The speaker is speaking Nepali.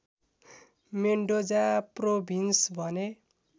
मेन्डोजा प्रोभिन्स भन्ने